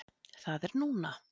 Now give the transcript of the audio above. Það er núna!